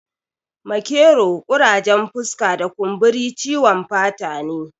Makero, ƙurajen fuska da kumburi ciwon fata ne